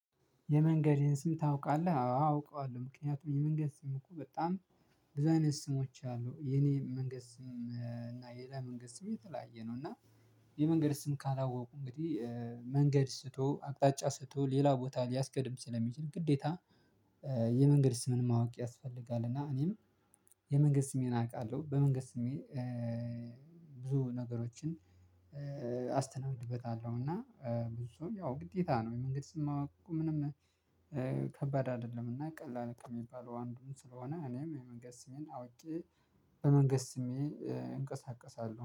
የመንገዴን ስም ታውቃለህ? አውቀዋለሁ ምክንያቱም የመንገድ ስም እኮ በጣም ብዙ አይነት ስሞች አሉ የኔ መንገድ ስም እና የሌላ መንገድ ስም የተለያየ ነው እና የመንገድ ስም ካላወቁ እንግዲህ መንገድ ስቶ አቅጣጫ ስቶ ሌላ ቦታ ሊያስቀድም ስለሚችል ግዴታ የመንገድ ስምም ማወቅ ያስፈልጋል። እና እኔም የመንገድ ስሜን አውቃለሁ በመንገድ ስሜ ብዙ ነገሮችን አስተናግድበታለሁ። እና ብዙ ያው ግዴታ ነው የመንገድ ስም ማወቅ ምንም ከባድ አይደለምና ቀላል ከሚባለው አንዱም ስለሆነ እኔም የመንገድ ስሜን አውቄ በመንገድ ስሜ እንቀሳቀሳለሁ